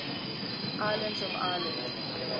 islands of ireland